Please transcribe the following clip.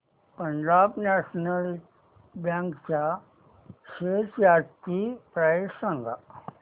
Punjab national bank च्या shares आजची price सांगा